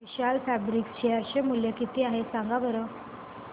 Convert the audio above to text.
विशाल fabrics share चे मूल्य किती आहे सांगा बरं